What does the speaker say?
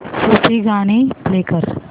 सूफी गाणी प्ले कर